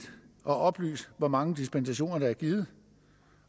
at oplyse hvor mange dispensationer der er givet